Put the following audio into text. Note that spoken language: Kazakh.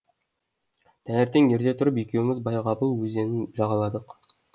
таңертең ерте тұрып екеуміз байғабыл өзенін жағаладық